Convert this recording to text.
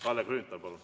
Kalle Grünthal, palun!